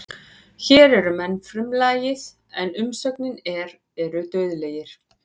Hér er menn frumlagið en umsögnin er eru dauðlegir.